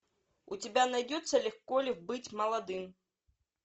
у тебя найдется легко ли быть молодым